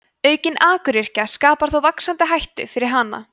aukin akuryrkja skapar þó vaxandi hættu fyrir hana